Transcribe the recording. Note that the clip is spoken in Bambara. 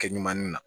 Kɛ ɲuman na